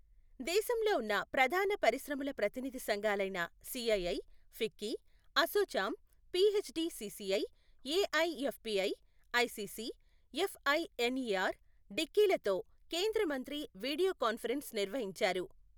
దేశంలో ఉన్న ప్రధాన పరిశ్రమల ప్రతినిధి సంఘాలైన CII, FICCI, ASSOCHAM, PHDCCI, AIFPI, ICC, FINER, DICCI లతో కేంద్ర మంత్రి వీడియో కాన్ఫరెన్స్ నిర్వహించారు.